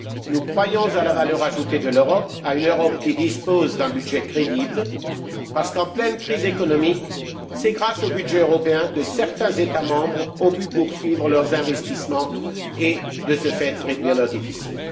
nous croyons à la valeur ajoutée de l'Europe, à une Europe qui dispose d'un budget crédible, parce qu'en pleine crise économique, c'est grâce au budget européen que certains États membres ont pu poursuivre leurs investissements et, de ce fait, réduire leur déficit.